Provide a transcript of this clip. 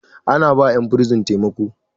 ana ba 'yan bursin taimako